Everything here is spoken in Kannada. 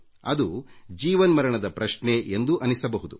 ಅದು ಜೀವನ್ಮರಣದ ಪ್ರಶ್ನೆ ಎಂದೂ ಅನ್ನಿಸಬಹುದು